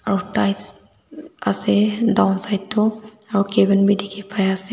aro tiles ase downside toh aro cabin bi dikhi pai ase.